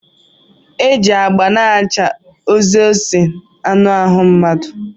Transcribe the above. E ji agba na-acha oze ese anụ ahụ mmadụ.